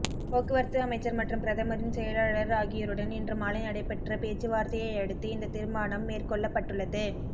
போக்குவரத்து அமைச்சர் மற்றும் பிரதமரின் செயலாளர் ஆகியோருடன் இன்று மாலை நடைபெற்ற பேச்சுவார்த்தையையடுத்து இந்ந தீர்மானம் மேற்கொள்ளப்பட்டுள்ளது